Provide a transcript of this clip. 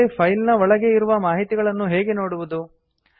ಆದರೆ ಫೈಲ್ ನ ಒಳಗೆ ಇರುವ ಮಾಹಿತಿಗಳನ್ನು ಹೇಗೆ ನೋಡುವುದು